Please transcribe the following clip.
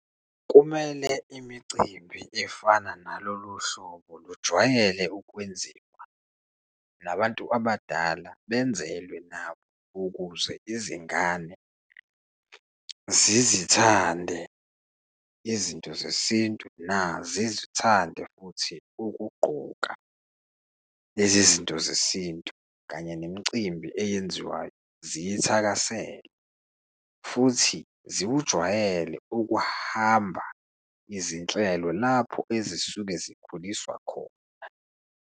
Kumele imicimbi efana naloluhlobo lujwayele ukwenziwa, nabantu abadala benzelwe nabo ukuze izingane zizithanda izinto zesintu, nazizithande futhi ukugqoka lezi zinto zesintu kanye nemicimbi eyenziwayo ziyithakasele, futhi zikujwayele ukuhamba izinhlelo lapho ezisuke zikhuliswa khona.